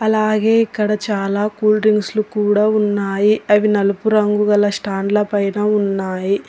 అలాగే ఇక్కడ చాలా కూల్ డ్రింక్స్ లు కూడా అవి నలుపు రంగు గల స్టాండ్ల పైన ఉన్నాయి.